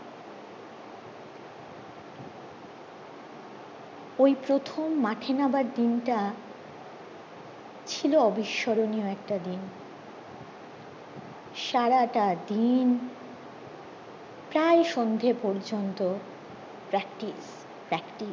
ওই প্রথম মাঠে নামার দিনটা শিলুর অবিস্বর্ণনিও একটা দিন সারাটা দিন প্রায় সন্ধে পর্যন্তু practice